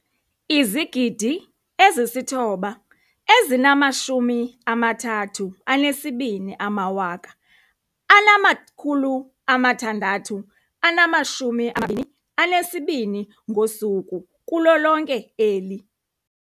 9 032 622 ngosuku kulo lonke eli.